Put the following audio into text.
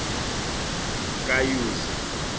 kayuzi